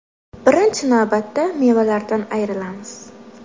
Birinchi navbatda mevalardan ayrilamiz.